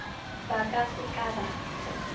ba ka se ka ba